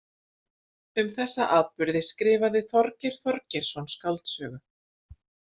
Um þessa atburði skrifaði Þorgeir Þorgeirsson skáldsögu.